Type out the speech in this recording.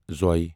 ظ